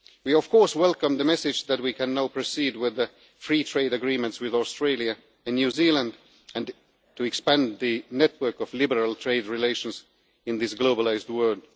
We, of course, welcome the message that we can now proceed with the free trade agreements with Australia and New Zealand and to expand the network of liberal trade relations in this globalised world.